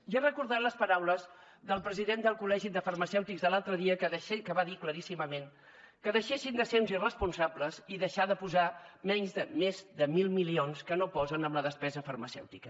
i he recordat les paraules del president del col·legi de farmacèutics de l’altre dia que va dir claríssimament que deixessin de ser uns irresponsables i deixessin de posar més de mil milions que no posen en la despesa farmacèutica